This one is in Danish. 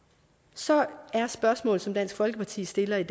så er spørgsmålet som dansk folkeparti stiller i